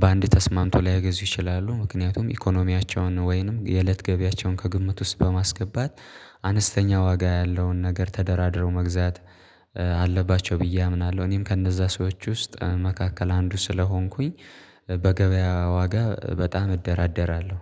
በአንድ ተስማምቶ ላይገዙ ይችላሉ ምክንያቱም ኢኮኖሚያቸውን ወይንም የእለት ገቢያቸውን ከግምት ውስጥ በማስገባት አነስተኛ ዋጋ ያለውን ነገር ተደራድረው መግዛት አለባቸው ብዬ አምናለሁ እኔም ከነዛ ሰዎች ውስጥ መካከል አንዱ ስለሆንኩኝ በገበያ ዋጋ በጣም እደራደራለሁ።